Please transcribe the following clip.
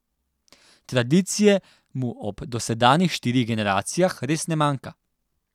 Tradicije mu ob dosedanjih štirih generacijah res ne manjka.